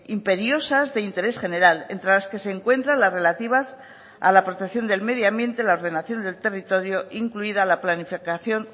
imperiosas de interés general entre las que se encuentran las relativas a la protección del medio ambiente la ordenación del territorio incluida la planificación